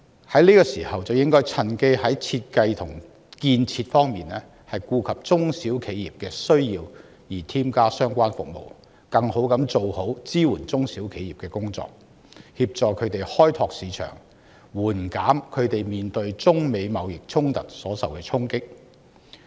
在這個時候，政府應該趁機在設計和建設方面顧及中小企的需要，添加相關服務，更妥善地做好支援中小企的工作，協助他們開拓市場，緩減他們面對中美貿易衝突所受到的衝擊。